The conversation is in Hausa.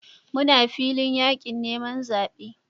Muna filin yakin neman zabe